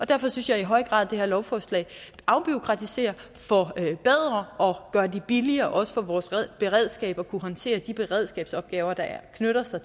derfor synes jeg i høj grad at det her lovforslag afbureaukratiserer forbedrer og gør det billigere også for vores beredskab at kunne håndtere de beredskabsopgaver der knytter sig